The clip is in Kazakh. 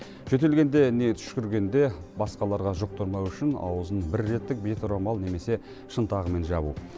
жөтелгенде не түшкіргенде басқаларға жұқтырмау үшін аузын бірреттік беторамал немесе шынтағымен жабу